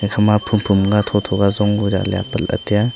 ekhama phom phom ka thotho ka jong jali apatla tiya.